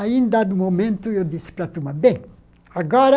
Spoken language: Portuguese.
Aí, em dado momento, eu disse para a turma, bem, agora,